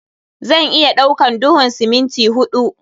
Zan iya ɗaukan duhun siminti huɗu.